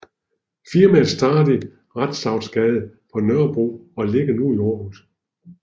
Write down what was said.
Firmaet startede i Rantzausgade på Nørrebro og ligger nu i Aarhus